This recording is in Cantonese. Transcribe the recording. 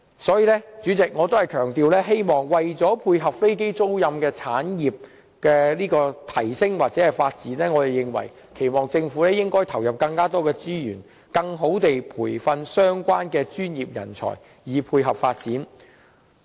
所以，主席，我仍要強調，為了配合飛機租賃產業的提升或發展，我們期望政府投入更多資源，更有效地培訓相關的專業人才，以配合發展。